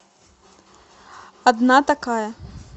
одна такая